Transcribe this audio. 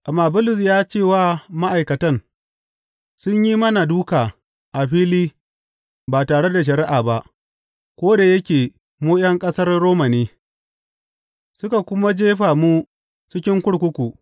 Amma Bulus ya ce wa ma’aikatan, Sun yi mana dūka a fili ba tare da shari’a ba, ko da yake mu ’yan ƙasar Roma ne, suka kuma jefa mu cikin kurkuku.